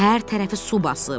Hər tərəfi su basıb.